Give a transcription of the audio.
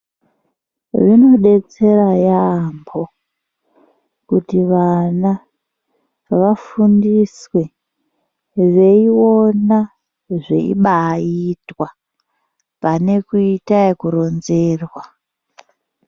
Zvinodetsera yaambo kuti vana vafundiswe veiona zveibaitwa pane kuita ekuronzerwa.